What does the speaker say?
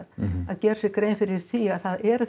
að gera sér grein fyrir því að það eru